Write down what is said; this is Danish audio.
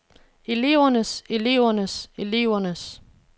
elevernes elevernes elevernes